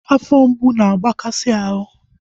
Afọ mgbu na-agbakasi ahụ